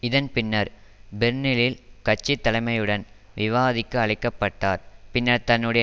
இதன் பின்னர் பெர்லினில் கட்சி தலைமையுடன் விவாதிக்க அழைக்க பட்டார் பின்னர் தன்னுடைய